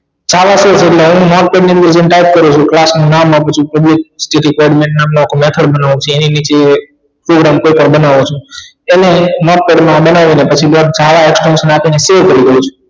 ઍટલે હુ notepad ની જેમ type કરું છું class નું નામ બનાવું પછી એની નીચે program કોઈ પણ બનાવો છે એને notepad માં બનાવી ને પછી fee ભોગવું છું